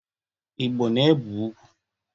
Igbo na-ebe ugwu.